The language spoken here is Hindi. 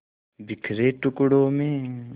बिखरे टुकड़ों में